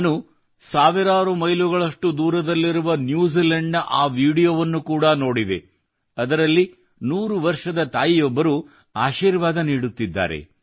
ನಾನು ಸಾವಿರಾರು ಮೈಲುಗಳಷ್ಟು ದೂರದಲ್ಲಿರುವ ನ್ಯೂಜಿಲೆಂಡ್ನ ಆ ವೀಡಿಯೊವನ್ನು ಕೂಡ ನೋಡಿದೆ ಅದರಲ್ಲಿ 100 ವರ್ಷದ ತಾಯಿಯೊಬ್ಬರು ಆಶೀರ್ವಾದ ನೀಡುತ್ತಿದ್ದರು